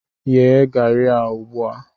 Yee garri a ugbu a!